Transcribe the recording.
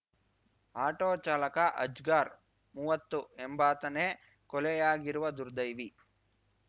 auto ಚಾಲಕ ಅಜ್ಗರ್ ಮುವ್ವತ್ತು ಎಂಬಾತನೇ ಕೊಲೆಯಾಗಿರುವ ದುರ್ದೈವಿ